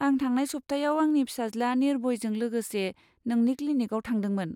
आं थांनाय सप्तायाव आंनि फिसाज्ला निर्भयजों लोगोसे नोंनि क्लिनिकाव थांदोंमोन।